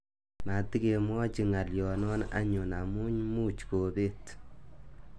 Matikemwochi ng'aloyno anyun amu much kobet.